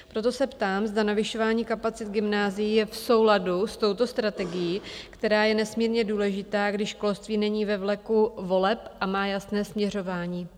Proto se ptám, zda navyšování kapacit gymnázií je v souladu s touto strategií, která je nesmírně důležitá, když školství není ve vleku voleb a má jasné směřování.